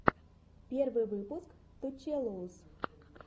первый выпуск ту челэуз